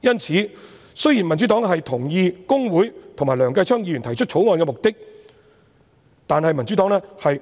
因此，雖然民主黨同意公會和梁繼昌議員提出《條例草案》的目的，但